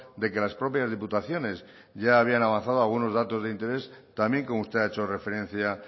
de que las propias diputaciones ya habían avanzado algunos datos de interés también como usted ha hecho referencia